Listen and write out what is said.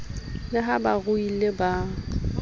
le ha ba ruile ba